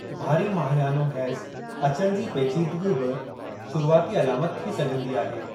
भारी माहियानो हैज़ अचणु जी पेचीदगी बि शुरुआती अलामत थी सघिंदी आहे।